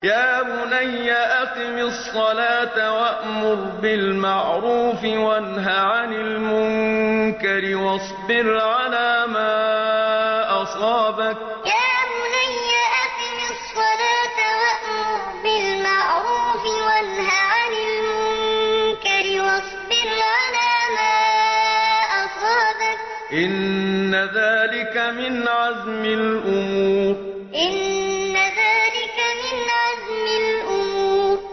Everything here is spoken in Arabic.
يَا بُنَيَّ أَقِمِ الصَّلَاةَ وَأْمُرْ بِالْمَعْرُوفِ وَانْهَ عَنِ الْمُنكَرِ وَاصْبِرْ عَلَىٰ مَا أَصَابَكَ ۖ إِنَّ ذَٰلِكَ مِنْ عَزْمِ الْأُمُورِ يَا بُنَيَّ أَقِمِ الصَّلَاةَ وَأْمُرْ بِالْمَعْرُوفِ وَانْهَ عَنِ الْمُنكَرِ وَاصْبِرْ عَلَىٰ مَا أَصَابَكَ ۖ إِنَّ ذَٰلِكَ مِنْ عَزْمِ الْأُمُورِ